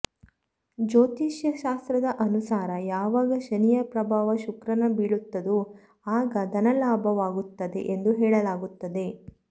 ಜ್ಯೋತಿಷ್ಯ ಶಾಸ್ತ್ರದ ಅನುಸಾರ ಯಾವಾಗ ಶನಿಯ ಪ್ರಭಾವ ಶುಕ್ರನ ಬೀಳುತ್ತದೋ ಆಗ ಧನಲಾಭವಾಗುತ್ತದೆ ಎಂದು ಹೇಳಲಾಗುತ್ತದೆ